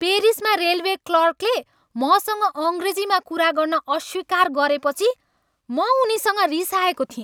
पेरिसमा railway क्लर्कले मसँग अङ्ग्रेजीमा कुरा गर्न अस्वीकार गरेपछि म उनीसँग रिसाएको थिएँ।